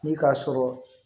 Ni k'a sɔrɔ